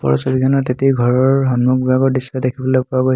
ওপৰৰ ছবি খনত এটি ঘৰৰ সন্মুখ ভাগৰ দৃশ্য দেখিবলৈ পোৱা গৈছে।